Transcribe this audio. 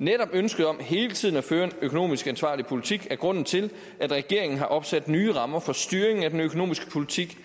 netop ønsket om hele tiden at føre en økonomisk ansvarlig politik er grunden til at regeringen har opsat nye rammer for styring af den økonomiske politik